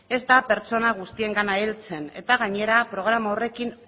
ez da pertsona guztiengana heltzen eta gainera programa horrekin